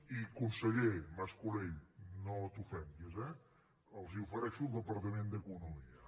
i conseller mas colell no t’ofenguis eh els ofereixo el departament d’economia